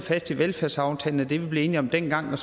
fast i velfærdsaftalen og det vi blev enige om dengang og